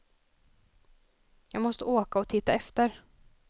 Jag måste åka och titta efter.